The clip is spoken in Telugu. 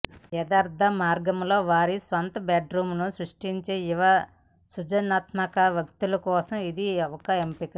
యదార్ధ మార్గంలో వారి స్వంత బెడ్ రూమ్ ను సృష్టించే యువ సృజనాత్మక వ్యక్తుల కోసం ఇది ఒక ఎంపిక